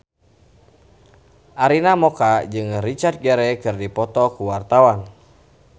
Arina Mocca jeung Richard Gere keur dipoto ku wartawan